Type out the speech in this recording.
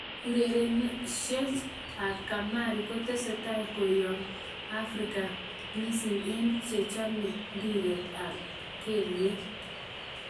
Urerenosiej ab kamari kotestai koyom eng' Africa mising eng' chechome mbiret ab gelyek.